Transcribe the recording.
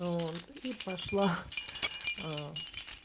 ну и пошла аа